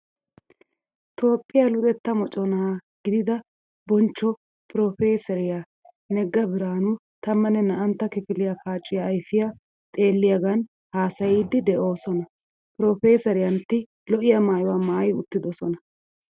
Toophphiyaa luxettaa moconaa gidida bonchcho Piroofeeseriyaa Negga Biraanu tammanne naa'antta kifiliyaa paaciyaa ayfiyaa xeelliyaagan haasayiiddi de"oosona. Piroofeeseriyantti lo'iyaa maayuwaa maayi uttidosona.